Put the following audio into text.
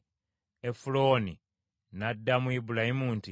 Efulooni n’addamu Ibulayimu nti,